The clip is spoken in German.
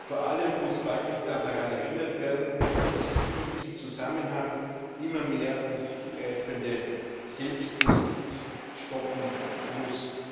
Vor allem muss Pakistan daran erinnert werden, dass es die in diesem Zusammenhang immer mehr um sich greifende Selbstjustiz stoppen muss.